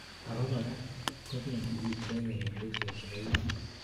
abakora, kobendi icheken infections chebo itit